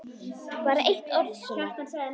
Bara eitt orð, Sunna.